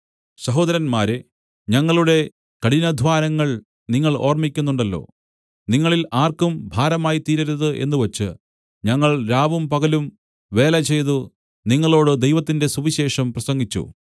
സഹോദരന്മാരേ ഞങ്ങളുടെ കഠിനാദ്ധ്വാനങ്ങൾ നിങ്ങൾ ഓർമ്മിക്കുന്നുണ്ടല്ലോ നിങ്ങളിൽ ആർക്കും ഭാരമായിത്തീരരുതു എന്നു വെച്ച് ഞങ്ങൾ രാവും പകലും വേലചെയ്തു നിങ്ങളോടു ദൈവത്തിന്റെ സുവിശേഷം പ്രസംഗിച്ചു